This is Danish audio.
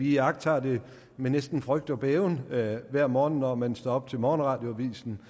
iagttager med næsten frygt og bæven hver morgen når man står op til morgenradioavisen